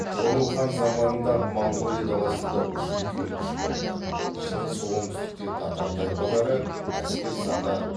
тұғырыл хан заманында моңғолия даласында үш үлкен күш болды шығыс оңтүстікте татар тайпалары әскер саны